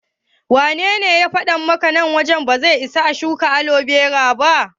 Wanene ya faɗa maka nan wajen ba zai isa a shuka alobera ba?